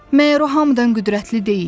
Məyər o hamıdan qüdrətli deyil?